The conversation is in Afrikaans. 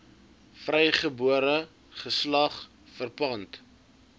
vrygebore geslag verpand